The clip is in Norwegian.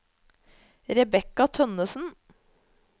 Rebecca Tønnessen